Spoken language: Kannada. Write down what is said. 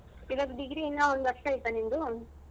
ಇವಾಗ degree ಇನ್ನ ಒಂದು ವರ್ಷ ಐತ ನಿಂದು?